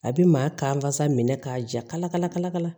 A bi maa kan sa minɛ k'a ja kala kala ka